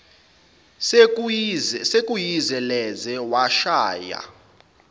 sekuyize leze washaya